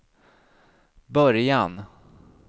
början